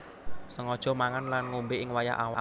Sengaja mangan lan ngombé ing wayah awan